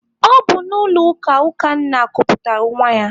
Ọ bụ n'ụlọ ụka Ukanna kuputara nwa ya.